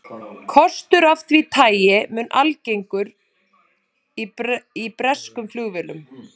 Kostur af því tagi mun algengur í breskum flugvélum.